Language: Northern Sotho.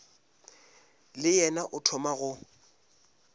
le yena o thoma go